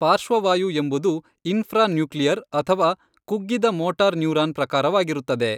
ಪಾರ್ಶ್ವವಾಯು ಎಂಬುದು ಇನ್ಫ್ರಾನ್ಯೂಕ್ಲಿಯರ್ ಅಥವಾ ಕುಗ್ಗಿದ ಮೋಟಾರ್ ನ್ಯೂರಾನ್ ಪ್ರಕಾರವಾಗಿರುತ್ತದೆ.